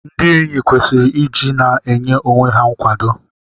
Ndị enyi kwesiri iji na-enye onwe ha nkwado.